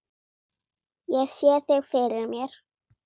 Ég sé þig fyrir mér.